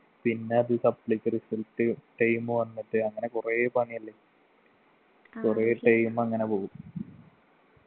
പിന്നെ അത് supply ക്ക് result time വന്നിട്ട് അങ്ങനെ കൊറേ പണിയല്ലേ കൊറേ time അങ്ങന പോകും